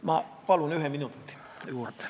Ma palun ühe minuti juurde!